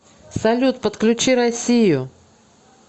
салют подключи россию